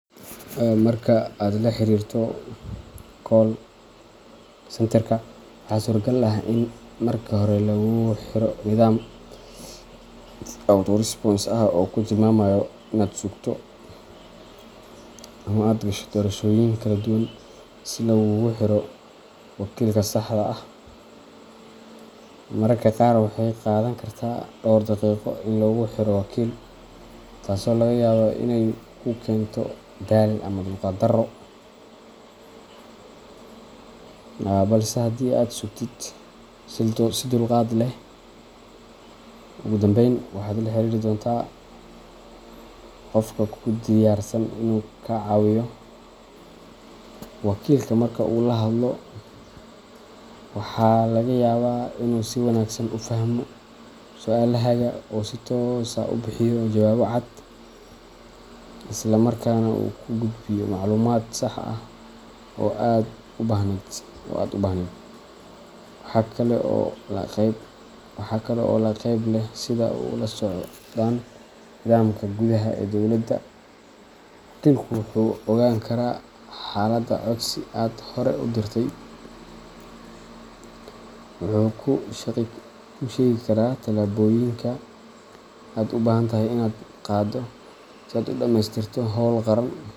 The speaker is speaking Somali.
Marka aad la xiriirto call centerka, waxaa suuragal ah in marka hore lagugu xiro nidaam auto-response ah oo kuu tilmaamaya inaad sugto ama aad gasho doorashooyin kala duwan si laguugu xiro wakiilka saxda ah. Mararka qaar waxay qaadan kartaa dhowr daqiiqo in lagu xiro wakiil, taasoo laga yaabo inay ku keento daal ama dulqaad darro, balse haddii aad sugtid. si dulqaad leh, ugu dambayn waxaad la xiriiri doontaa qof kuu diyaarsan inuu kaa caawiyo. Wakiilka marka uu la hadlo, waxaa laga yaabaa inuu si wanaagsan u fahmo su’aalahaaga oo uu si toos ah u bixiyo jawaabo cad, isla markaana uu kuu gudbiyo macluumaad sax ah oo aad u baahnayd. Waxaa kale oo la yaab leh sida ay ula socdaan nidaamka gudaha ee dowladda wakiilku wuxuu ogaan karaa xaalada codsi aad hore u dirtay, wuxuu kuu sheegi karaa tallaabooyinka aad u baahan tahay inaad qaaddo si aad u dhammaystirto howl qaran.